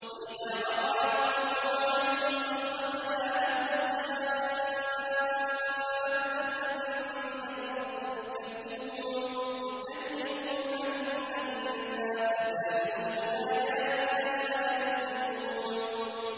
۞ وَإِذَا وَقَعَ الْقَوْلُ عَلَيْهِمْ أَخْرَجْنَا لَهُمْ دَابَّةً مِّنَ الْأَرْضِ تُكَلِّمُهُمْ أَنَّ النَّاسَ كَانُوا بِآيَاتِنَا لَا يُوقِنُونَ